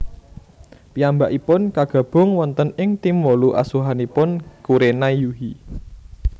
Piyambakipun kagabung wonten ing tim wolu asuhanipun Kurenai Yuhi